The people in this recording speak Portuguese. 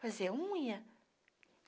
Fazer unha.